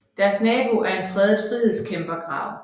Deres nabo er en fredet frihedskæmpergrav